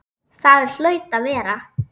Það hlaut að vera.